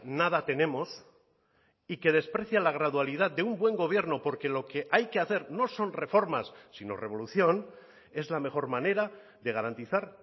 nada tenemos y que desprecia la gradualidad de un buen gobierno porque lo que hay que hacer no son reformas sino revolución es la mejor manera de garantizar